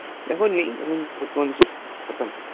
এখন নেই এখন শেষ খতম,